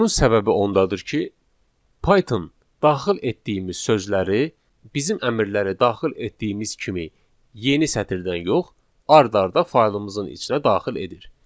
Bunun səbəbi ondadır ki, Python daxil etdiyimiz sözləri bizim əmrləri daxil etdiyimiz kimi yeni sətirdən yox, ard-arda faylın içinə daxil edir.